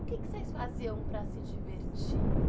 O que vocês faziam para se divertir?